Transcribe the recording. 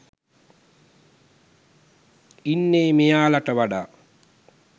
ඉන්නේ මෙයාලට වඩා